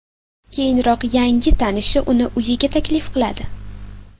Keyinroq yangi tanishi uni uyiga taklif qiladi.